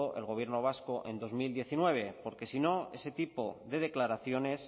el gobierno vasco en dos mil diecinueve porque si no ese tipo de declaraciones